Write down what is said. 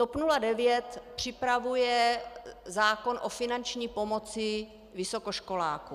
TOP 09 připravuje zákon o finanční pomoci vysokoškolákům.